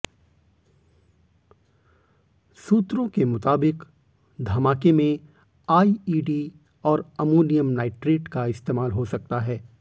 सूत्रों के मुताबिक धमाके में आईईडी और अमोनियम नाइट्रेट का इस्तेमाल हो सकता है